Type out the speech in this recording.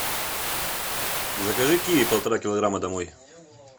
закажи киви полтора килограмма домой